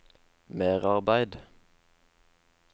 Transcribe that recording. merarbeid